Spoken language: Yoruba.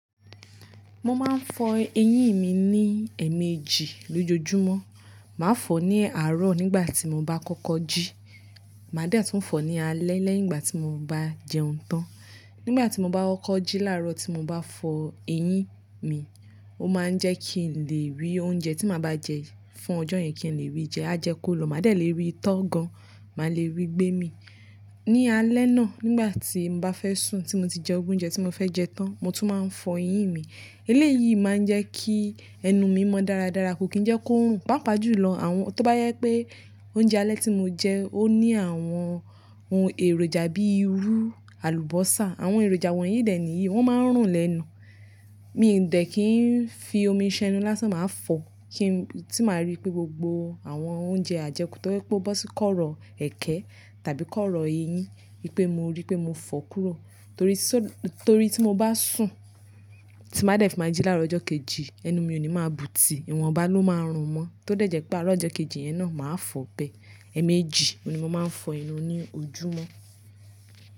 Mo máa ń fọ eyín mi ní ẹ̀ẹ̀mejì lójoojúmọ́. Màá fọ ní àárọ̀ nígbà tí mo bá kọ́kọ́ jí, màá dẹ̀ tún fọ ní alẹ́ lẹ́yìn ìgbà tí mo bá jẹun tán. Nígbà tí mo bá kọ́kọ́ jí láàárọ̀ tí mo bá fọ eyín mi, ó máa ń jẹ́ kí n lè rí oúnjẹ tí màá bá jẹ fún ọjọ́ yẹn kí n lè ríi jẹ, a jẹ kó lọ. Màá dẹ̀ lè rí itọ́ gan, màá lè rí gbẹ́mi. Ní alẹ́ náà nígbà tí mo bá fẹ́ sùn tí mo ti jẹ oúnjẹ tí mo fẹ́ jẹ tán, mo tún máa ń fọ eyín mi. Eléyìí máa ń jẹ́ kí ẹnu mi mọ́ dáradára kó kí ń jẹ́ kó ń rùn. Pápa jù lọ àwọn-- tó bá yẹ pé oúnjẹ alẹ́ tí mo jẹ ó ní àwọn ohun èròjà bíi irú, àlùbọ́sà, àwọn èròjà wọ̀nyí dẹ̀ níyìí wọ́n máa ń rùn lẹ́nu. Mi dẹ̀ kì í fi omi ṣan enu lásán máa fọ kí n-- tí màá rí pé gbogbo àwọn oúnjẹ ajẹkù tó je pe o bọ́ sí kọ́rọ̀ ẹ̀kẹ́ tàbí kọ́rọ̀ eyín, pé mo rí pé mo fọ kúrò. Torí sọ-- torí tí mo bá sùn tí màá dẹ̀ fí màá jí láàárọ̀ ọjọ́ kejì, ẹnu mi ò ní máa bù tí ìwọ̀nba ló máa ń rùn mọ́. Tó dẹ̀ jẹ́ pé àárọ̀ ọjọ́ kejì yẹn náà màá fọ bẹ. Ẹ̀ẹ̀mejì ni mo máa ń fọ enú ní ojúmọ́.